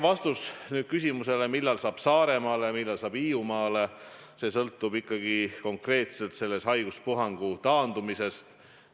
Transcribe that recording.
Vastus teie küsimusele, millal saab Saaremaale, millal saab Hiiumaale, sõltub ikkagi konkreetselt selle haiguspuhangu taandumisest.